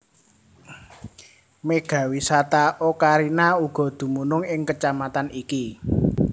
Mega Wisata Ocarina uga dumunung ing Kecamatan iki